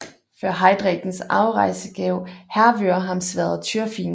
Før Heidreks afrejse gav Hervør ham sværdet Tyrfing